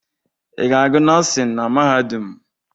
Ị ga-agụ nọọsịn na mahadum?